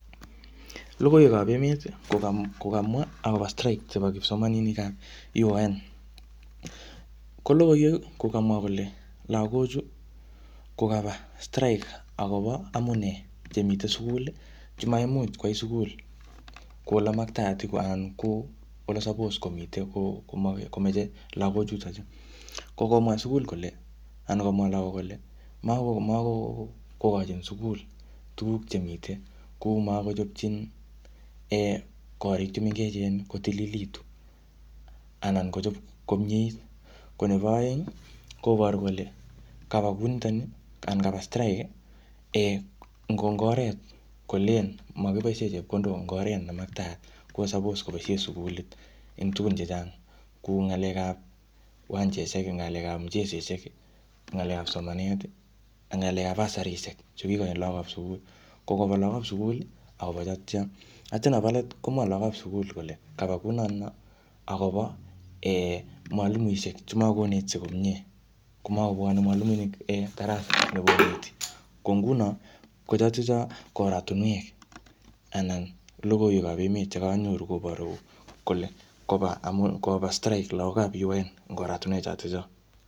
Logoiwekap emet, koka-kokamwa akobo strike chebo kipsomaninikap UON. Ko logoiwek, ko kamwa kole lagochu kokaba strike akobo amunee chemitei sugul, chemaimuch kwai sugul kouu ole makataat anan kole uu suppose komite komeche lagochutochu. Ko komwa sugul kole, anan komwa lagok kole mako-makokochin sugul tuguk chemiite, kuu makochopchin um korik che mengechen kotililitu anna kochop komiet. Ko nebo aeng, koboru kole kaba kunitoni anan kaba strike um ngo oret kolen makiboisie chepkondok eng oret ne maktaat. Ko suppose koboisie sukulit en tugun chechang kou ngalekap uwanjeshek, ngalekap mucheseshek, ngalekap somanet, ngalek basarisiek chu kikochin lagokap sukul. Ko kopa lagokap sukul akobo chotocho. Atya nebo let, komwa lagokap sugul kole kaba kuu notono akobo mwalimuisiek um che makonetisie komyee. Ko makobwane mwalimunik []um darasa nyikoneti. Ko nguno, ko chotocho ko oratunwek anan logoiwekap emet chekanyoru koboru kole koba amu koba strike lagokap UON eng oratunwek chotocho